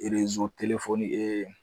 Erezo telefoni